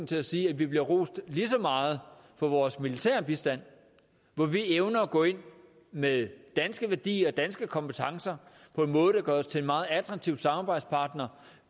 til at sige at vi bliver rost lige så meget for vores militære bistand hvor vi evner at gå ind med danske værdier danske kompetencer på en måde der gør os til en meget attraktiv samarbejdspartner